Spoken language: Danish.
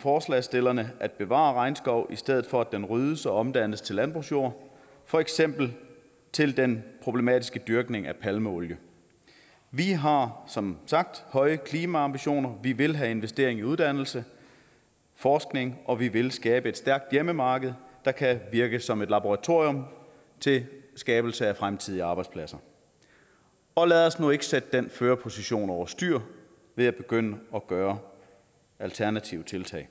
forslagsstillerne at bevare regnskov i stedet for at den ryddes og omdannes til landbrugsjord for eksempel til den problematiske dyrkning af palmeolie vi har som sagt høje klimaambitioner vi vil have investering i uddannelse og forskning og vi vil skabe et stærkt hjemmemarked der kan virke som et laboratorium til skabelse af fremtidige arbejdspladser og lad os nu ikke sætte den førerposition over styr ved at begynde at gøre alternative tiltag